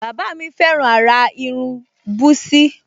Bàbá mi fẹ́ràn àrà irun búsí